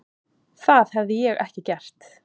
Það hefði ég ekki gert.